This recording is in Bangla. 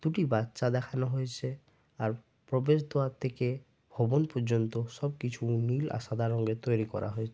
দুটি বাচ্চা দেখানো হয়েছে আর প্রবেশদুয়ার থেকে ভবন পর্যন্ত সবকিছু নীল আর সাদা রঙের তৈরি করা হয়ে --